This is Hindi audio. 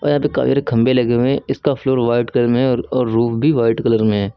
और यहां पर खंभे लगे हुए हैं इसका फ्लोर व्हाइट कलर में है और रूफ भी वाइट कलर में है।